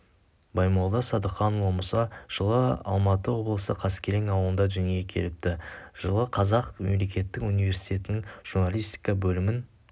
баймолда садыханұлы мұса жылы алматы облысы қаскелең ауылында дүниеге келіпті жылы қазақ мемлекеттік университетінің журналистика бөлімін